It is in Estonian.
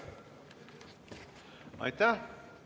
Aitäh!